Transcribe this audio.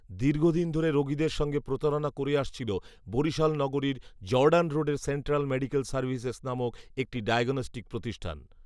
দীর্ঘদিন ধরে রোগীদের সঙ্গে প্রতারনা করে আসছিল বরিশাল নগরীর জর্ডান রোডের সেন্ট্রাল মেডিকেল সার্ভিসেস নামক একটি ডায়গণষ্টিক প্রতিষ্ঠান